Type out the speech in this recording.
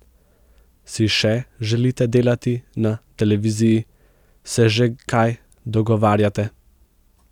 Si še želite delati na televiziji, se že kaj dogovarjate?